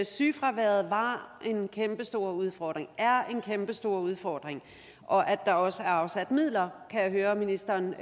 sygefraværet var en kæmpestor udfordring og er en kæmpestor udfordring og at der også er afsat midler kan jeg høre ministeren